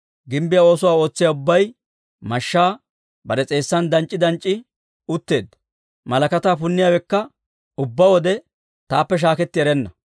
Gimbbiyaa oosuwaa ootsiyaa ubbay mashshaa bare s'eessan danc'c'i danc'c'i utteedda. Malakataa punniyaawekka ubbaa wode taappe shaaketti erenna.